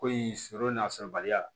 Ko in sogo n'a sɔrɔbaliya